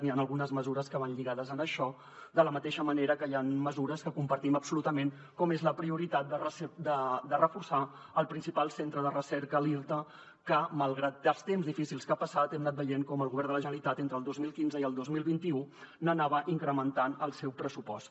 hi han algunes mesures que van lligades a això de la mateixa manera que hi han mesures que compartim absolutament com la prioritat de reforçar el principal centre de recerca l’irta que malgrat els temps difícils que ha passat hem anat veient com el govern de la generalitat entre el dos mil quinze i el dos mil vint u anava incrementant el seu pressupost